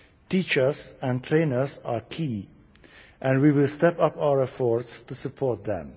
Teachers and trainers are key and we will step up our efforts to support them.